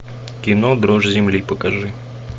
кино дрожь земли покажи